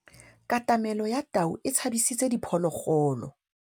Katamêlô ya tau e tshabisitse diphôlôgôlô.